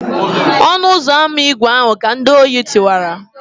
ọnu-uzọ-ama ígwè ahu ka ndi-ori tiwara